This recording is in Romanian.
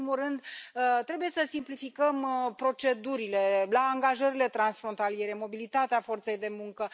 În primul rând, trebuie să simplificăm procedurile la angajările transfrontaliere, mobilitatea forței de muncă.